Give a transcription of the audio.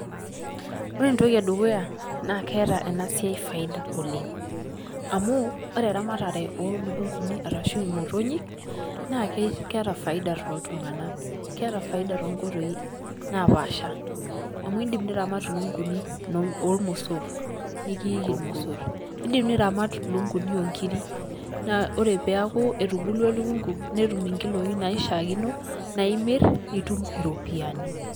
Ore entoki e dukuya naa keeta ena siai faida oleng' amu ore eramatare oo lukung'uni arashu imotonyik naake keeta faida tooltung'anak. Keeta faida too nkoitoi napaasha amu iindim niramat lukung'uni nor oormosor nekiiki irmosor, indim niramat lukung'uni oo nkirik naa ore pee eaku etubulua elukung'u netum nkiloi naishaakino nae imir nitum iropiani.